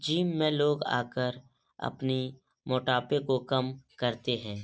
Gym में लोग आकर अपनी मोटापे को कम करते हैं।